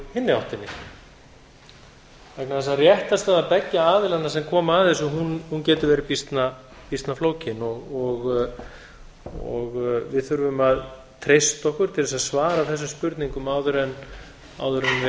hinni áttinni vegna þess að réttarstaða beggja aðilanna sem koma að þessu getur verið býsna flókin við þurfum að treysta okkur til að svara þessum spurningum áður en við